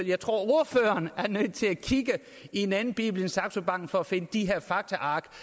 jeg tror ordføreren er nødt til at kigge i en anden bibel end saxo banks for at finde de her faktaark